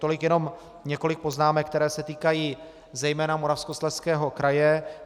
Tolik jenom několik poznámek, které se týkají zejména Moravskoslezského kraje.